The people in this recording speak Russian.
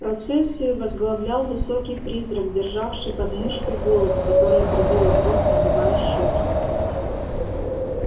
процессию возглавлял высокий призрак державший под мышкой голову которая трубила в рог надувая щеки